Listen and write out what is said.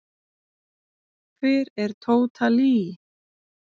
Hver er Tóta Lee?